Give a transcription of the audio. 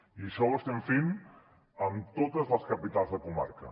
i això ho estem fent amb totes les capitals de comarca